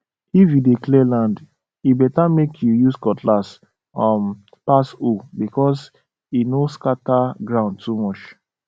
if you dey clear land e better make you use cutlass um pass hoe because e no scatter ground too much